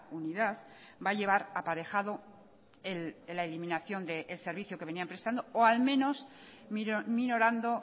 unidad va a llevar aparejado en la eliminación del servicio que venían prestando o al menos minorando